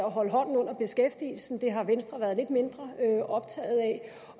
at holde hånden under beskæftigelsen det har venstre været lidt mindre optaget